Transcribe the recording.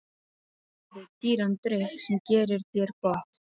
Hérna færðu dýran drykk sem gerir þér gott.